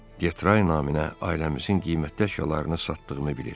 Getray naminə ailəmizin qiymətli əşyalarını satdığını bilir.